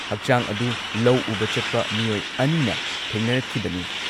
ꯍꯛꯆꯥꯡ ꯑꯗꯨ ꯂꯧ ꯎꯕ ꯆꯠꯄ ꯃꯤꯑꯣꯏ ꯑꯅꯤꯅ ꯊꯦꯡꯅꯔꯛꯈꯤꯕꯅꯤ ꯫